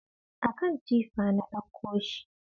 A kan tifa na ɗakko shi